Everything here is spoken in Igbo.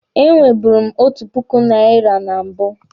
E nweburu m otu puku naira na mbụ.